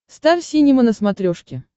стар синема на смотрешке